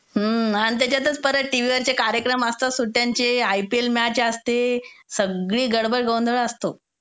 आणि त्याच्यातच परत टीव्हीवरचे कार्यक्रम असतात सुट्ट्यांचे, आयपीएल मॅच असते. सगळी गडबड गोंधळ असतो.